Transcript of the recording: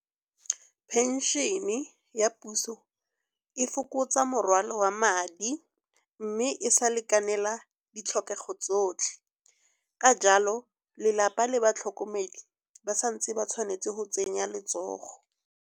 Phenšene e ya puso e fokotsa morwalo wa madi, mme e sa lekanela ditlhokego tsotlhe. Ka jalo lelapa le batlhokomedi ba santse ba tshwanetse go tsenya letsogo.